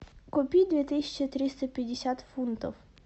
купить две тысячи триста пятьдесят фунтов